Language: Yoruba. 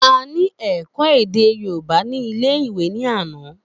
A ní èkó èdè yorùbá ní ilé ìwé ní àná